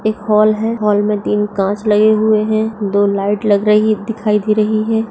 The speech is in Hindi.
एक हॉल है हॉल मे तीन कांच लगे हुए है दो लाइट लग रही दिखाई दे रही है।